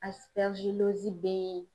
bɛ ye